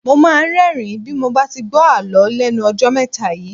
Mo máa ń rẹ́ẹ̀rín bí mo bá ti gbó Àlọ́ lẹ́nu ọjọ́ mẹ́ta yìí.